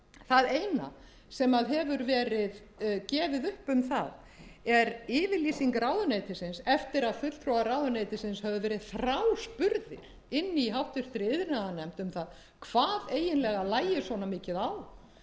það eina sem hefur verið gefið upp um það er yfirlýsing ráðuneytisins eftir að fulltrúar ráðuneytisins höfðu verið þráspurðir í háttvirtri iðnaðarnefnd um það hvað eiginlega lægi svona mikið á